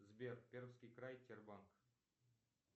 сбер пермский край тербанк